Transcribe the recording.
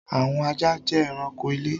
Àwọn ajá jẹ ẹranko ilé.